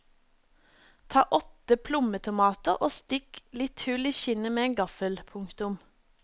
Ta åtte plommetomater og stikk litt hull i skinnet med en gaffel. punktum